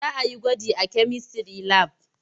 Za a yi gwaji a kemistry lab.